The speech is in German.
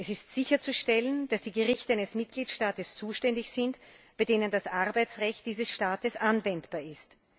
Es ist sicherzustellen, dass die Gerichte eines Mitgliedstaates zuständig sind, bei denen das Arbeitsrecht dieses Staates anwendbar ist.